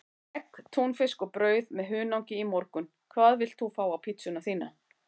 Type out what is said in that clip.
Egg, túnfisk og brauð með hunangi í morgun Hvað vilt þú fá á pizzuna þína?